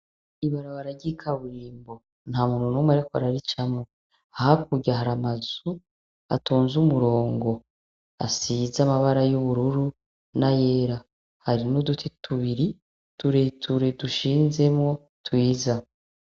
Ibarabara ry'ikaburimbo. Nta muntu n'umwe ariko araricamwo. Hakurya hari amazu atonze umurongo, asize amabara y’ubururu n’ayera. Hari n’udutubiri ture ture dushinzemwo twiza.